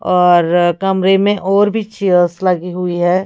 और कमरे में और भी चेयर्स लगी हुई हैं।